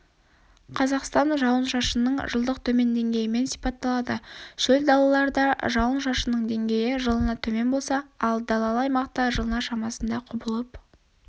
қазақстан жауын-шашынның жылдық төмен деңгейімен сипатталады шөл далаларда жауын шашынның деңгейі жылына төмен болса ал далалы аймақта-жылына шамасында құбылып